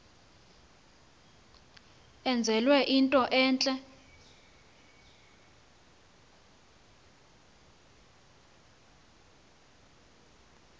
enzelwe into entle